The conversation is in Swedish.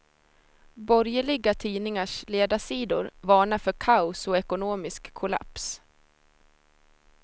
Borgerliga tidningars ledarsidor varnar för kaos och ekonomisk kollaps.